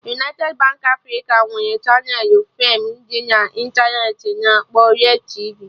United Baankị Africa nwere chaneelụ feem dị na intaneti a na-akpọ Red tv